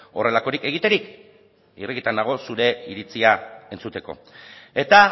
horrelakorik egiterik irrikitan nago zure iritzia entzuteko eta